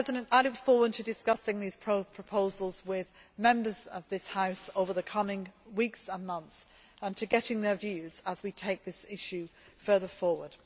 I look forward to discussing these proposals with Members of this House over the coming weeks and months and to getting their views as we take this issue further forward.